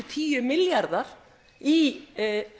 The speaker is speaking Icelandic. tíu milljarðar í